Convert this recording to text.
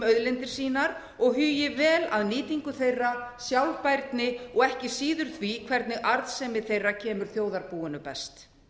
auðlindir sínar og hugi vel að nýtingu þeirra sjálfbærni og ekki síður því hvernig arðsemi þeirra kemur þjóðarbúinu best